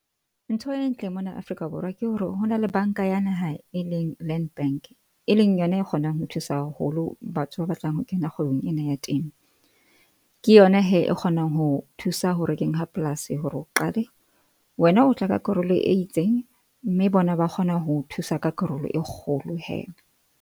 Ntho e ntle mona Afrika Borwa ke hore hona le Bank-a ya Naha, e leng Land Bank, e leng yona e kgonang ho thusa haholo batho ba batlang ho kena kgwebong ena ya temo. Ke yona he e kgonang ho thusa ho rekeng ha polasi hore o qale. Wena o tla ka karolo e itseng, mme bona ba kgona ho thusa ka karolo e kgolo hee.